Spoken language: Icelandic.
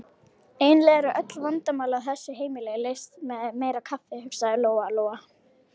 Eiginlega eru öll vandamál á þessu heimili leyst með meira kaffi, hugsaði Lóa-Lóa.